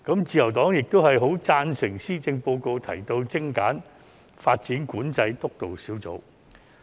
自由黨亦贊成施政報告提到精簡發展管制督導小組。